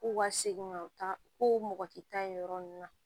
K'u ka segin ka u ka ko mɔgɔ ti taa yen yɔrɔ nunnu na